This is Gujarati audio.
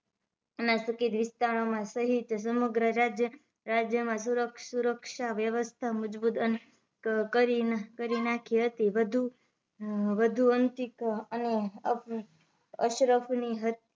ના સકીત વિસ્તારો માં સહિત સમગ્ર રાજ્ય રાજ્યમાં શૂર શુરક્ષા વ્યવસ્થા મજબુત અને કરી નાખી હતી વધુ વધુ અંતિક અ અ અશરફની